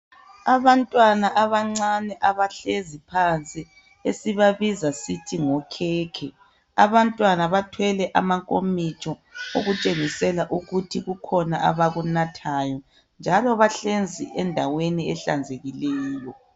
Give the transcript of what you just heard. Abantwana abancane abahlezi phansi, esibabiza sithi ngokhekhe. Abantwana bathwele amankomitsho, okutshengisela ukuthi kukhona abakunathayo, njalo bahlezi endaweni ehlanzekileyo.